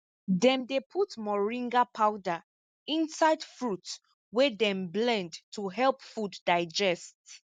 dem dey put moringa powder inside fruit wey dem blend to help food digest